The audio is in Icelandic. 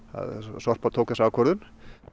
Sorpa tók þessa ákvörðun